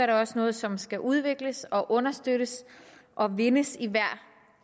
det også noget som skal udvikles understøttes og vindes i hver